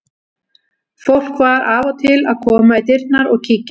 Fólk var af og til að koma í dyrnar og kíkja.